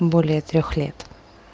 более трёх лет